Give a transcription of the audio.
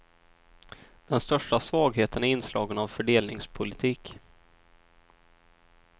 Den största svagheten är inslagen av fördelningspolitik.